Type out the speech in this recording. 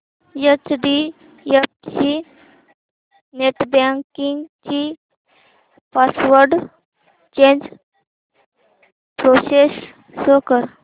HDFC net banking ची password change process show कर